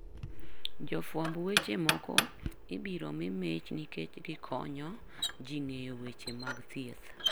Jofwamb weche moko ibiro mi mich nikech gikonyo ji ng'eyo weche mag thieth.